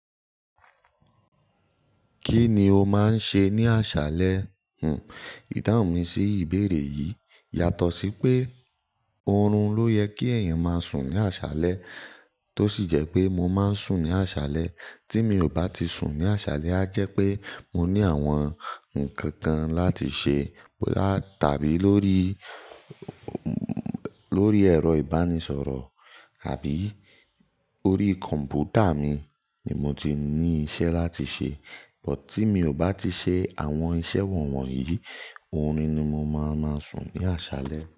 Kí ni o máa ń ṣe ní àṣálẹ́? Hm, ìdáhùn mi sí ìbéèrè yìí yàtọ̀ sí pé orun ló yẹ kí èèyàn máa sùn ní àṣálẹ́, tó sì jẹ́ pé mo máa ń sùn ní àṣálẹ́. Tí mi ò bá ti sùn ní àṣálẹ́, á jẹ́ pé mo ní àwọn ǹkan kan láti ṣe lá-- tàbí lórí, lórí ẹ̀rọ ìbánisọ̀rọ̀ àbí orí kọ̀m̀pútà mi ni mo ti ní iṣẹ́ láti ṣe. Bút tí mi ò bá ti ṣe àwọn iṣẹ́ wọ̀nyí, oorun ni mo máa máa sùn ní àṣálẹ́